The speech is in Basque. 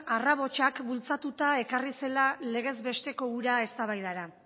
bultzatuta ekarri zela legez besteko hura eztabaidara